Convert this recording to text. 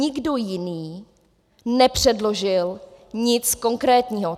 Nikdo jiný nepředložil nic konkrétního.